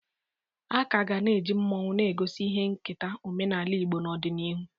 A ka ga na-eji mmọnwụ na-egosi ihe nketa omenaala Igbo n'ọdịnihu.